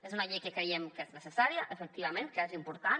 és una llei que creiem que és necessària efectivament que és important